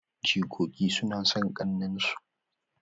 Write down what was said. Jikoki suna son kakanninsu